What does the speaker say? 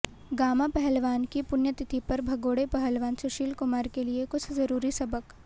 gamma पहलवान की पुण्यतिथि पर भगोड़े पहलवान सुशील कुमार के लिए कुछ ज़रूरी सबक